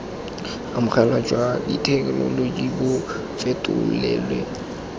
amogelwa jwa thekenoloji bo fetolelwe